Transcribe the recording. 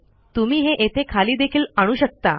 तुम्ही हे येथे खाली देखील आणू शकता